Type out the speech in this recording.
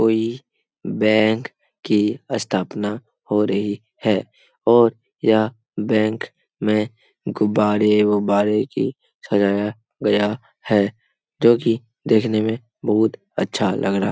कोई बैंक की स्थापना हो रही है और यह बैंक में गुब्बारे-उब्बारे की सजाया गया है जो कि देखने में बहुत अच्छा लग रहा --